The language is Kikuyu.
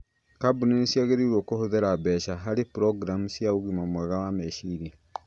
Kambuni nĩ ciagĩrĩirũo kũhũthĩra mbeca harĩ programu cia ũgima mwega wa meciria